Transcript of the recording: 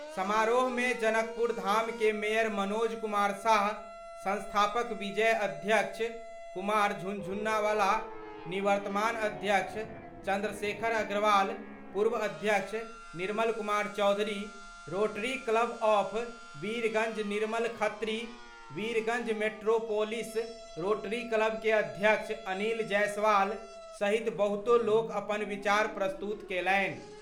समारोह मे जनकपुरधाम के मेयर मनोज कुमार साह, संस्थापक विजय अध्यक्ष कुमार झुनझुनवाला, निवर्तमान अध्यक्ष चंद्रशेखर अग्रवाल, पूर्व अध्यक्ष Nirmal Kumar Chaudhary, Rotary Club of Birgunj Nirmal Khatri, Birgunj metropolis Rotary Club के अध्यक्ष अनिल जायसवाल सहित बहुतो लोक अपन विचार प्रस्तुत केलनि।